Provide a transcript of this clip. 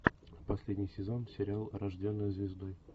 последний сезон сериал рожденная звездой